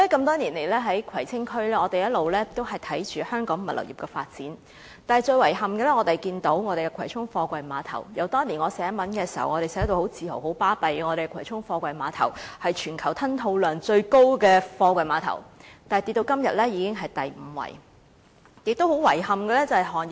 多年來，我一直留意葵青區和香港物流業的發展，但遺憾的是，葵涌貨櫃碼頭由我當年作文時很自豪地說是全球吞吐量最高的貨櫃碼頭，到今天已經下跌至第五位。